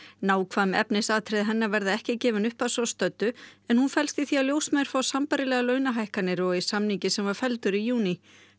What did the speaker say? nákvæm efnisatriði hennar verða ekki gefin upp að svo stöddu en hún felst í því að ljósmæður fá sambærilegar launahækkanir og í samningi sem var felldur í júní